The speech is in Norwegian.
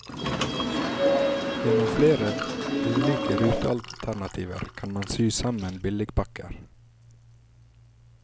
Gjennom flere ulike rutealternativer kan man sy sammen billigpakker.